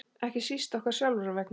Ekki síst okkar sjálfra vegna.